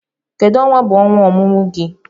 Kedu onwa bu ọnwa ọmụmụ gị dị?